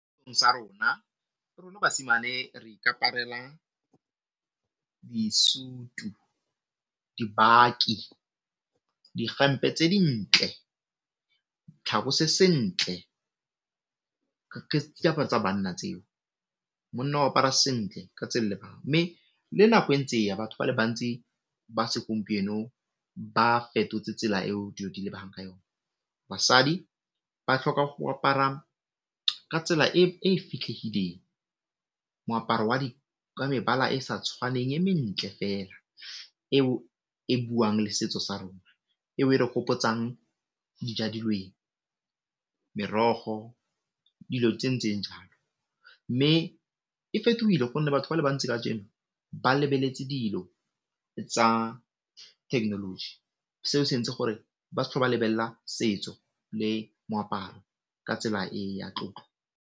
Sa rona basimane re ikaparela disutu, dibaki, dihempe tse dintle, tlhako se sentle tsa banna tseo. Monna o apara sentle ka mme le nako ntse eya batho ba le bantsi ba segompieno ba fetotse tsela eo dilo di ba ng ka yone, basadi ba tlhoka go apara ka tsela e fitlhegileng, moaparo wa mebala e sa tshwaneng e mentle fela eo e buang le setso sa rona, eo e re gopotsang dija merogo dilo tse ntseng jalo, mme e fetogile gonne batho ba le bantsi kajeno ba lebeletse dilo tsa thekenoloji seo se ntse gore ba setlho ba lebella setso le moaparo ka tsela e ya tlotlo.